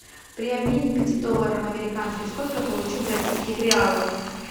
при обмене пяти долларов американских сколько я получу бразильских реалов